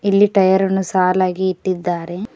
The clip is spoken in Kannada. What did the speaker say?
ಇಲ್ಲಿ ಟಯರ್ ಅನ್ನು ಸಾಲಾಗಿ ಇಟ್ಟಿದ್ದಾರೆ.